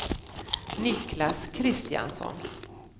Niklas Kristiansson